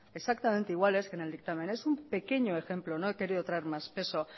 exactamente iguales que en el dictamen es un pequeño ejemplo no he querido traer más peso